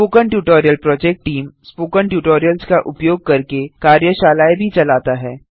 spoken tutorial project team spoken tutorials का उपयोग करके कार्यशालाएँ भी चलाता है